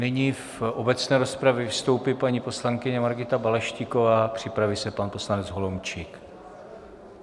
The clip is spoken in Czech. Nyní v obecné rozpravě vystoupí paní poslankyně Margita Balaštíková, připraví se pan poslanec Holomčík.